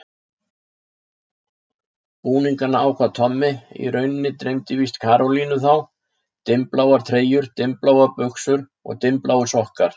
Búningana ákvað Tommi, í rauninni dreymdi víst Karolínu þá: Dimmbláar treyjur, dimmbláar buxur, dimmbláir sokkar.